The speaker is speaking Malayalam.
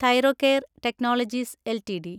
Thyrocare technologies LTD